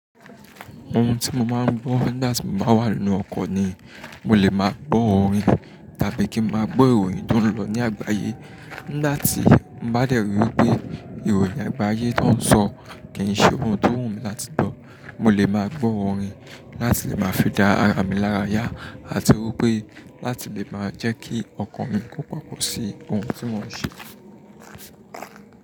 Ohun tí mo máa ń gbọ́ nígbà tí mo bá wà nínú ọkọ̀ ni mo lè máa gbọ́ orin tàbí kí n máa gbọ́ ìròyìn tó ń lọ ní àgbáyé. Nígbà tí mo bá dẹ̀rí wípé ìròyìn àgbáyé tó ń sọ kì ń ṣe ohun tó wù mí láti gbọ́, mo lè máa gbọ́ orin láti lè máa fi dá ara mi lára yá àti wípé láti lè máa jẹ́ kí ọkàn mi kó pàpọ̀ sí ohun tí mò ń ṣe.